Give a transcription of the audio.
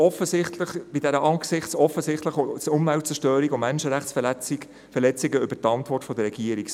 Angesichts dieser offensichtlichen Umweltzerstörung und Menschenrechtsverletzung sind wir umso erstaunter über die Antwort der Regierung.